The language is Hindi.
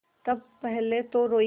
तब पहले तो रोयी